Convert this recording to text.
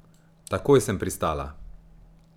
Takoj sem pristala.